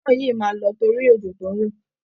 Iná yìí máa lọ torí òjò tó ń rọ̀